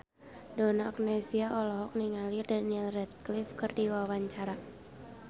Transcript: Donna Agnesia olohok ningali Daniel Radcliffe keur diwawancara